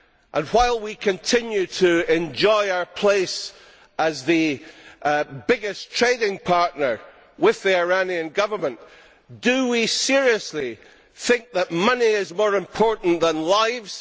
And, while we continue to enjoy our place as the biggest trading partner with the Iranian Government, do we seriously think that money is more important than lives?